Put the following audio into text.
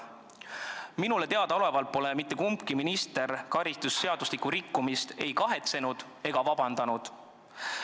Minule teadaolevalt pole kumbki minister karistusseadustiku rikkumist ei kahetsenud ega vabandust palunud.